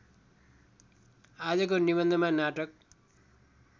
आजको निबन्धमा नाटक